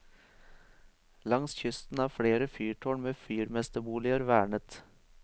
Langs kysten er flere fyrtårn med fyrmesterboliger vernet.